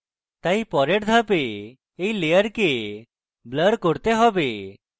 তাই পরের ধাপে এই layer blur করতে হবে